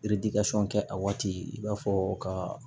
kɛ a waati i b'a fɔ ka